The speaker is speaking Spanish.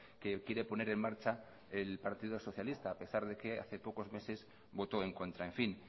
que quiere poner en marcha el partido socialista a pesar de que hace pocos meses votó en contra en fin